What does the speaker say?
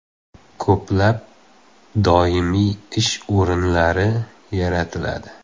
Ko‘plab doimiy ish o‘rinlari yaratiladi.